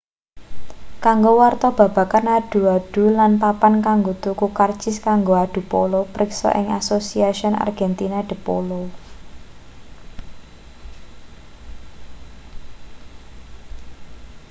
kanggo warta babagan adu-adu lan papan kanggo tuku karcis kanggo adu polo priksa ing asociacion argentina de polo